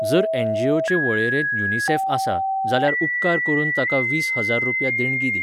जर एनजीओचे वळेरेंत युनिसेफ आसा, जाल्यार उपकार करून ताका वीस हजार रुपया देणगी दी.